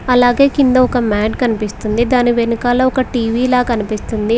అలాగే కింద ఒక మ్యాట్ కనిపిస్తుంది దాని వెనుకాల ఒక టీవీ లా కనిపిస్తుంది.